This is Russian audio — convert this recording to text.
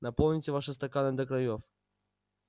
наполните ваши стаканы до краёв